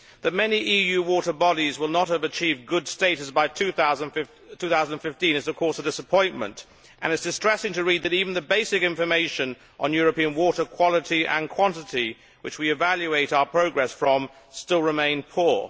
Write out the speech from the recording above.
That many EU water bodies will not have achieved good status by 2015 is of course a disappointment and it is distressing to read that even the basic information on European water quality and quantity, which we evaluate our progress from, still remains poor.